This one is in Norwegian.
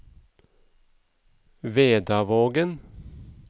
Vedavågen